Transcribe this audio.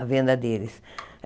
a venda deles.